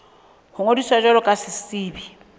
ho ngodisa jwalo ka setsebi